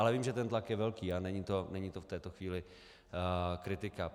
Ale vím, že ten tlak je velký a není to v této chvíli kritika.